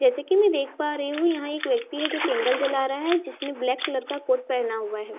जैसे की मैं देख पा रही हुं यहाँ एक व्यक्ति है जो कि‍न्डल जला रहा है जिसने ब्लैक कलर का कोर्ट पहना हुआ है।